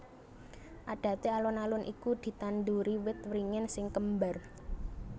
Adaté alun alun iku ditanduri wit wringin sing kembar